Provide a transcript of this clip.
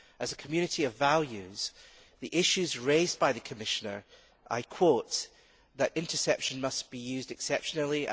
As a community of values, the issue is that raised by the Commissioner I quote, that interception must be used exceptionally'.